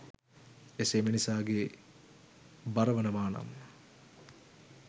එසේ මිනිසාගේ බරවනවානං